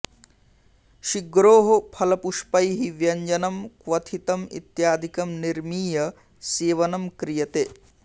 शिग्रोः फलपुष्पैः व्यञ्जनं क्वथितम् इत्यादिकं निर्मीय सेवनं क्रियते